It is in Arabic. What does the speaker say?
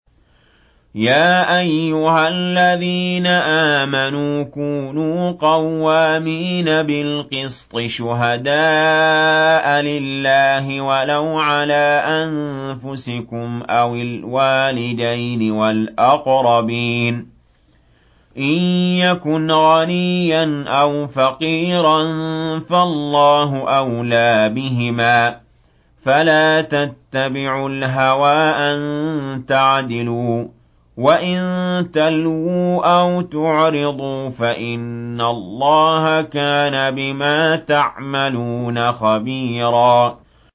۞ يَا أَيُّهَا الَّذِينَ آمَنُوا كُونُوا قَوَّامِينَ بِالْقِسْطِ شُهَدَاءَ لِلَّهِ وَلَوْ عَلَىٰ أَنفُسِكُمْ أَوِ الْوَالِدَيْنِ وَالْأَقْرَبِينَ ۚ إِن يَكُنْ غَنِيًّا أَوْ فَقِيرًا فَاللَّهُ أَوْلَىٰ بِهِمَا ۖ فَلَا تَتَّبِعُوا الْهَوَىٰ أَن تَعْدِلُوا ۚ وَإِن تَلْوُوا أَوْ تُعْرِضُوا فَإِنَّ اللَّهَ كَانَ بِمَا تَعْمَلُونَ خَبِيرًا